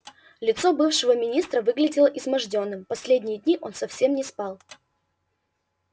лицо бывшего министра выглядело измождённым последние дни он совсем не спал